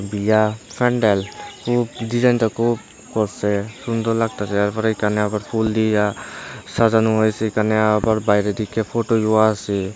ইয়া প্যান্ডেল খুব ডিজাইনটা খুব করসে সুন্দর লাগতাসে ইয়ার পরে এখানে আবার ফুল দিয়া সাজানো হয়েছে এখানে আবার বাইরে থেকে ফোটো লোয়া আসে ।